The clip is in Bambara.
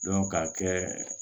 k'a kɛ